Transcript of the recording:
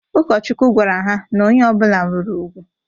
Ụkọchukwu gwara ha na onye ọbụlạ nwere ùgwù.